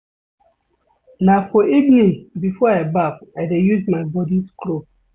Na for evening before I baff I dey use my body scrub.